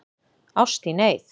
Ást í neyð